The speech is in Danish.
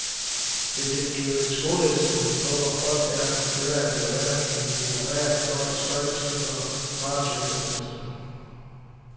Hvis det kan blive et skoleeksempel på hvor hårdt det er for kvinder at blive anerkendt litterært, står det sløjt til for martyrfeminismen.